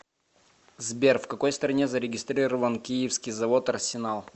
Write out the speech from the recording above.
сбер в какой стране зарегистрирован киевский завод арсенал